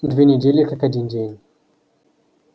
две недели как один день